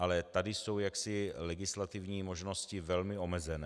Ale tady jsou jaksi legislativní možnosti velmi omezené.